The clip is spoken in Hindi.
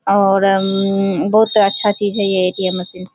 और अम्म बहोत अच्छा चीज है। ये एटीएम मशीन --